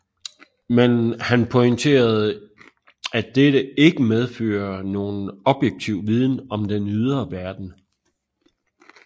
Men han pointerede at dette ikke medfører nogen objektiv viden om den ydre verden